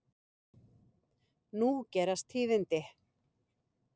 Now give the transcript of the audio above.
Nú gerast tíðindi.